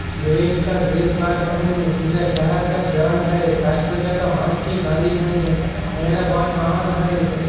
जैवेन का देश भारता हैं चिका शहर का जान है राष्ट्रपति का महत्या गांधी है। मेरा भात महान है।